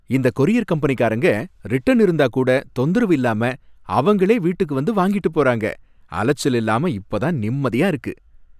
இந்தக் கொரியர் கம்பெனிகாரங்க ரிட்டன் இருந்தா கூட தொந்தரவு இல்லாம அவங்களே வீட்டுக்கு வந்து வாங்கிட்டுப் போறாங்க. அலைச்சல் இல்லாம இப்பதான் நிம்மதியா இருக்கு.